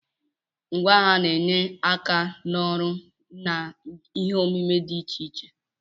Ngwá agha na-enyere aka n'ọrụ na ihe omume dị iche iche.